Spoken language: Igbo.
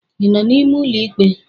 ị nọ n'ime ụlọ ikpe?